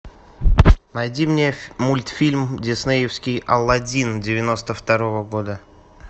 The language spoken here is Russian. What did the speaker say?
найди мне мультфильм диснеевский аладдин девяносто второго года